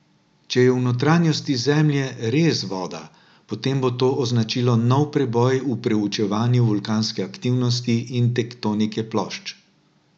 Če je v notranjosti Zemlje res voda, potem bo to označilo nov preboj v preučevanju vulkanske aktivnosti in tektonike plošč.